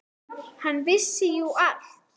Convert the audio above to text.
Hann vissi jú allt.